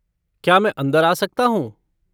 क्या मैं अंदर आ सकता हूँ?